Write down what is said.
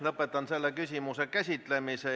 Lõpetan selle küsimuse käsitlemise.